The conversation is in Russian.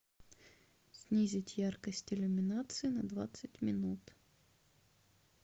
снизить яркость иллюминации на двадцать минут